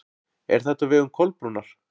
Er þetta á vegum Kolbrúnar?